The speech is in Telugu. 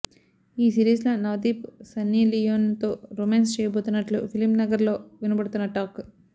ఈ సిరీస్ లో నవదీప్ సన్నీలియోన్ తో రొమాన్స్ చేయబోతున్నట్లు ఫిలింనగర్ లో వినపడుతున్న టాక్